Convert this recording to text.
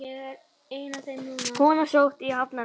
Kona sótt á Hafnarfjall